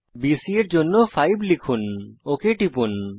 BC এর দৈর্ঘ্যের জন্য 5 লিখুন এবং ওক টিপুন